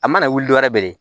A mana wuli dɔwɛrɛ bɛlen